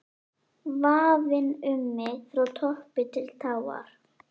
VAFIN um mig frá toppi til táar